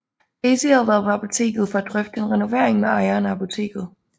Gacy havde været på apoteket for at drøfte en renovering med ejeren af apotektet